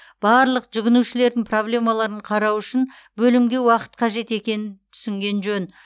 барлық жүгінушілердің проблемаларын қарау үшін бөлімге уақыт қажет екенін түсінген жөн